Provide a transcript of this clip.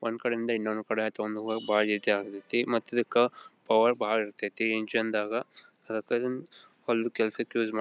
ಒಂದ್ಕಡೆಯಿಂದ ಇನ್ನೊಂದ್ ಕಡೆ ಆಯಿತು ಒಂದು ಬಹಳ ಮತ್ ಇದ್ದಕ್ಕ ಪವರ್ ಬಹಳ ಇರತೈತಿ ಹೊಲದ ಕೆಲಸಕ್ಕೆ ಯೂಸ್ --